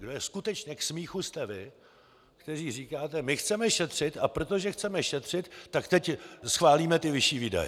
Kdo je skutečně k smíchu, jste vy, kteří říkáte: My chceme šetřit, a protože chceme šetřit, tak teď schválíme ty vyšší výdaje.